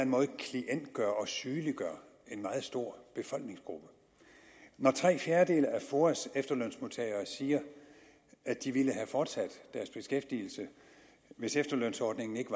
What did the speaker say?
måde klientgør og sygeliggør en meget stor befolkningsgruppe når tre fjerdedele af foa’s efterlønsmodtagere siger at de ville have fortsat deres beskæftigelse hvis efterlønsordningen ikke